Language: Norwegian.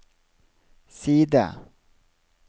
side